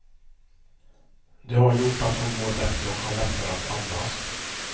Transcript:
Det har gjort att hon mår bättre och har lättare att andas.